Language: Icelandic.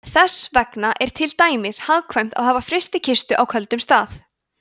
þess vegna er til dæmis hagkvæmt að hafa frystikistu á köldum stað